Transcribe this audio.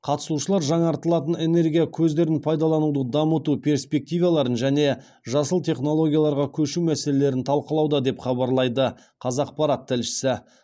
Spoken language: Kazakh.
қатысушылар жаңартылатын энергия көздерін пайдалануды дамыту перспективаларын және жасыл технологияларға көшу мәселелерін талқылауда деп хабарлайды қазақпарат тілшісі